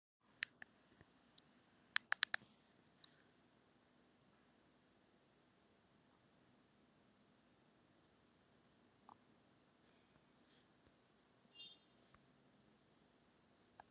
Eða hvenær eðlileg gjaldeyrisviðskipti geti hafist?